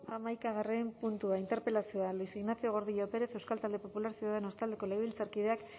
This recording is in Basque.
gai zerrendako hamaikagarren puntua interpelazioa luis ignacio gordillo pérez euskal talde popular ciudadanos taldeko legebiltzarkideak